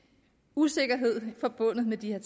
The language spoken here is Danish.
usikkerhed forbundet med de her